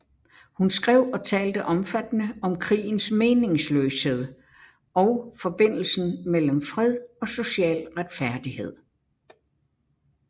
Hun skrev og talte omfattende om krigens meningsløshed og forbindelsen mellem fred og social retfærdighed